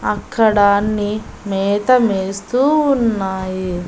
అక్కడ అన్ని మేతమేస్తూ ఉన్నాయి.